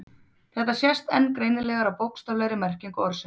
Þetta sést enn greinilegar á bókstaflegri merkingu orðsins.